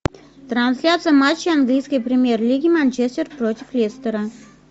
трансляция матча английской премьер лиги манчестер против лестера